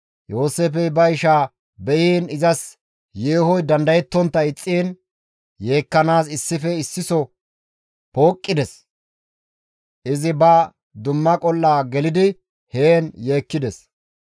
Yooseefey ba ishaa be7iin izas yeehoy dandayettontta ixxiin yeekkanaas issife issiso pooqqides. Izi ba dumma qol7a gelidi heen yeekkides.